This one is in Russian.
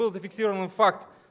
был зафиксированный факт